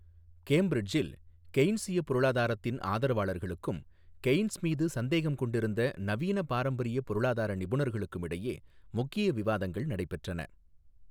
கேம்பிரிட்ஜில், கெய்ன்ஸிய பொருளாதாரத்தின் ஆதரவாளர்களுக்கும், கெய்ன்ஸ் மீது சந்தேகம் கொண்டிருந்த நவீன பாரம்பரிய பொருளாதார நிபுணர்களுக்கும் இடையே முக்கிய விவாதங்கள் நடைபெற்றன.